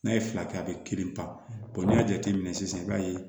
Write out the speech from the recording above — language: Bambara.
N'a ye fila kɛ a bɛ kelen pan n'i y'a jateminɛ sisan i b'a ye